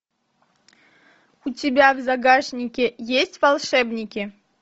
у тебя в загашнике есть волшебники